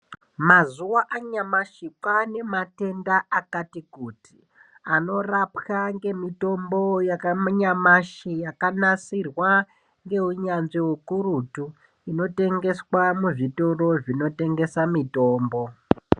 Mazuwaanyamashi kwaane matenda akati kuti anorapwe ngemitombo yanyamashi yakanasirwa ngeunyanzvi ukurutu inotengeswa muzvitoro zvinotengesa mitombo.